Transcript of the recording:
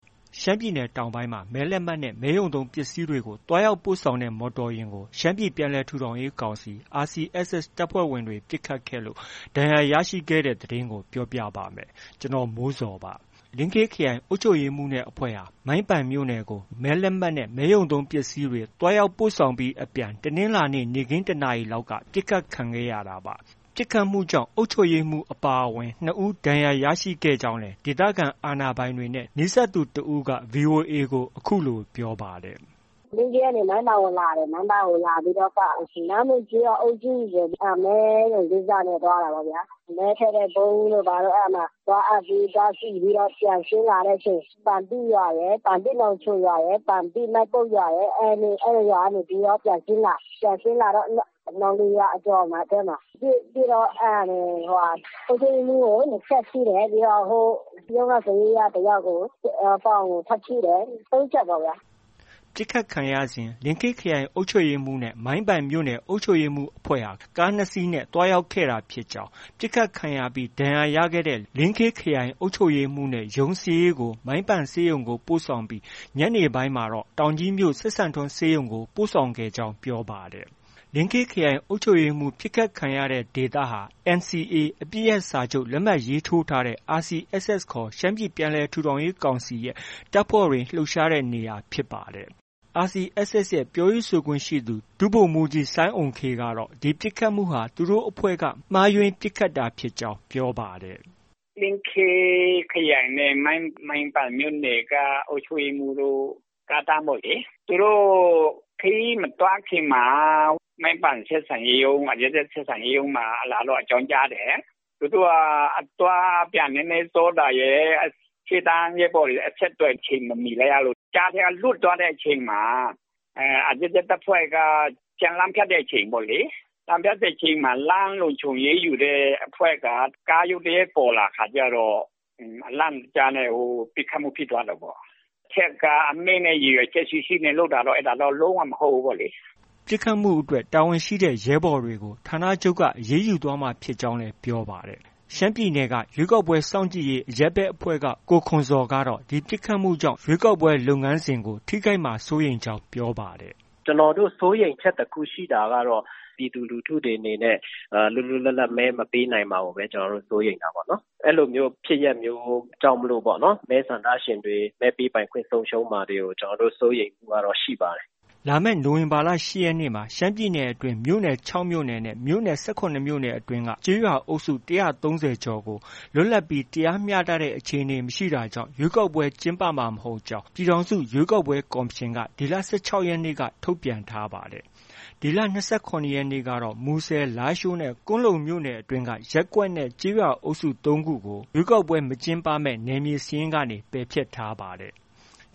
ရှမ်းပြည်နယ်တောင်ပိုင်းမှာ မဲလက်မှတ်နဲ့ မဲရုံသုံးပစ္စည်းတွေကို သွားရောက်ပို့ဆောင်တဲ့ မော်တော်ယာဉ်ကို ရှမ်းပြည်ပြန်လည်ထူထောင်ရေးကောင်စီ RCSS တပ်ဖွဲ့ဝင်တွေ ပစ်ခတ်ခဲ့လို့ ထိခိုက်ဒဏ်ရာရရှိခဲ့တဲ့ သတင်းကို ပြောပြပါမယ်။ ဗွီအိုအေမြန်မာပိုင်းသတင်းထောက် ကိုမိုးဇော်က သတင်းပေးပို့ထားပါတယ်။ လင်းခေးခရိုင်အုပ်ချုပ်ရေးမှုးနဲ့အဖွဲ့ဟာ မိုင်းပန်မြို့နယ်ကို မဲလက်မှတ်နဲ့ မဲရုံသုံးပစ္စည်းတွေ သွားရောက်ပို့ဆောင်ပြီး အပြန် တနင်္လာနေ့ နေ့ခင်း ၁နာရီလောက်က ပစ်ခတ်ခံခဲ့ရတာပါ။ ပစ်ခတ်မှုကြောင့် အုပ်ချုပ်ရေးမှူး အပါအဝင် ၂ ဦး ဒဏ်ရာရခဲ့ကြောင်းလည်း ဒေသခံအာဏာပိုင်တွေနဲ့ နီးစပ်သူ တစ်ဦးက VOA ကို အခုလို ပြောပါတယ်။ “ လင်းခေးကနေ မိုင်းပန်ကိုလာတယ်။ မိုင်းပန်ကိုလာပြီးတော့မှ နားမူကျေးရွာအုပ်စုကို မဲရုံကိစ္စနဲ့ သွားတာပေါ့ဗျာ။ မဲထည့်တဲ့ပုံးတို့ သွားအပ်ပြီး၊ သွားကြည့်ပြီး ပြန်ဆင်းလာတဲ့အချိန် ပန်ပိရွာရယ်၊ ပန်ပိနောင်ချိုရွာရယ်၊ ပန်ပိမိုင်းပုတ်ရွာရယ် အဲဒီရွာကနေပြီး ပြန်ဆင်းလာတော့ နောင်လေရွာအကျော်မှာ ပစ်တော့ အုပ်ချုပ်ရေးမှူးကို ၂ချက်ထိတယ်။ ရုံးက စာရေးက တစ်ယောက်ကို ပေါင်ကို ထပ်ထိတယ်။ သုံးချက်ပေ့ါဗျာ။” ပစ်ခတ်ခံရစဉ်မှာ လင်းခေးခရိုင်အုပ်ချုပ်ရေးမှုးနဲ့ မိုင်းပန်မြို့နယ်အုပ်ချုပ်ရေးမှူး အဖွဲ့ဟာ ကား၂စီးသွားခဲ့ တာဖြစ်ကြောင်း၊ ပစ်ခတ်ခံရပြီးနောက် ဒဏ်ရာရတဲ့ လင်းခေးခရိုင်အုပ်ချုပ်ရေးမှူးနဲ့ ရုံးစာရေးကို မိုင်းပန်ဆေးရုံကို ပို့ဆောင်ပြီး ညနေပိုင်းမှာ တောင်ကြီးမြို့ စပ်စံထွန်းဆေးရုံကို ပို့ဆောင်ခဲ့ကြောင်း ပြောပါတယ်။ လင်းခေးခရိုင်အုပ်ချုပ်ရေးမှူး ပစ်ခတ်ခံရတဲ့ဒေသဟာ NCA အပစ်ရပ်စာချုပ်လက်မှတ် ရေးထိုးထားတဲ့ RCSS ခေါ် ရှမ်းပြည်ပြန်လည်ထူထောင်ရေးကောင်စီရဲ့ တပ်ဖွဲ့တွေ လှုပ်ရှားနေတဲ့နေရာဖြစ်ပါတယ်။ RCSS ရဲ့ ပြောရေးဆိုခွင့်ရှိသူ ဒုဗိုလ်မှုးကြီး စိုင်းအုမ်ခေးကတော့ ဒီပစ်ခတ်မှုဟာ သူတို့ အဖွဲ့က မှားယွင်း ပစ်ခတ်တာဖြစ်ကြောင်း ပြောပါတယ်။ “လင်းခေးခရိုင်နဲ့ မိုင်းပန်မြို့နယ်က အုပ်ချုပ်ရေးမှူးတို့ ကားတန်းပေါ့လေ။ သူတို့ခရီးမသွားခင်မှာ မိုင်းပန်ဆက်ဆံရေးရုံးမှာ အရပ်ဘက် ဆက်ဆံရေးရုံးမှာ လာပြီးတော့ အကြောင်းကြားတယ်။ သူတို့က အသွားအပြန် နည်းနည်းစောတာရယ်။ ရှေ့တန်းရဲဘော်တွေ အဆက်အသွယ်အချိန်မမီလိုက်ရလို့ ကြားထဲက လွတ်သွားတဲ့အချိန်မှာ RCSS တပ်ဖွဲ့က လမ်းဖြတ်တဲ့အချိန်ပေါ့လေ။ လမ်းဖြတ်တဲ့အချိန်မှာ လမ်းလုံခြုံရေးယူတဲ့အဖွဲ့က ကားရုတ်တရက်ပေါ်လာခါကျတော့ အလန့်တကြားနဲ့ ပစ်ခတ်မှု ဖြစ်သွားတာပေါ့။ အထက်က အမိန့်နဲ့ ရည်ရွယ်ချက်ရှိရှိလုပ်တာတော့ လုံး၀ မဟုတ်ဘူးပေါ့လေ။ ” ပစ်ခတ်မှုအတွက် တာဝန်ရှိတဲ့ ရဲဘော်တွေကို ဌာနချုပ်က အရေးယူသွားမှာဖြစ်ကြောင်းလည်း ပြောပါတယ်။ ရှမ်းပြည်နယ်က ရွေးကောက်ပွဲစောင့်ကြည့်ရေး အရပ်ဘက်အဖွဲ့က ကိုခွန်ဇော်ကတော့ ဒီပစ်ခတ်မှုကြောင့် ရွေးကောက်ပွဲ လုပ်ငန်းစဉ်မှာ ထိခိုက်မှာကို စိုးရိမ်ကြောင်း ပြောပါတယ်။ “ကျနော်တို့ စိုးရိမ်ချက် တစ်ခုရှိတာကတော့ ပြည်သူလူထုတွေအနေနဲ့ လွတ်လွတ်လပ်လပ် မဲမပေးနိုင်မှာကိုပဲ ကျနောတို့ စိုးရိမ်တာပေါ့နော်။ အဲလိုမျိုးဖြစ်ရပ်မျိုးကြောင့်မို့ မဲဆန္ဒရှင်တွေ မဲပေးပိုင်ခွင့် ဆုံးရှုံးမှာတွေကို စိုးရိမ်မှုကတော့ ရှိပါတယ်။ ” လာမယ့် နိုဝင်ဘာလ ၈ရက်နေ့မှာ ရှမ်းပြည်နယ်အတွင်း မြို့နယ် ၆ မြို့နယ်နဲ့ မြို့နယ် ၁၇မြို့နယ်အတွင်း ကျေးရွာအုပ်စု ၁၃၀ ကျော်ကို လွတ်လပ်ပြီး တရားမျှတဲ့ အခြေအနေ မရှိတာကြောင့် ရွေးကောက်ပွဲကျင်းပမှာ မဟုတ်ကြောင်း ရွေးကောက်ပွဲကော်မရှင်က ဒီလ ၁၆ ရက် နေ့က ထုတ်ပြန်ထားတာပါ။ ဒီလ ၂၇ရက်နေ့ကတော့ မူဆယ်၊ လားရှိုးနဲ့ ကွမ်းလုံမြို့နယ်အတွင်းက ရပ်ကွက်နဲ့ ကျေးရွာအုပ်စု ၃ခုကို ရွေးကောက်ပွဲမကျင်းပမယ့် နယ်မြေစာရင်းကနေ ပယ်ဖျက်ထားပါတယ်။